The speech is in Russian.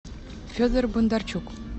федор бондарчук